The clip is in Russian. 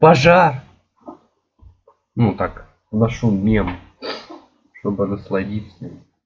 пожар ну так вношу мем чтобы насладиться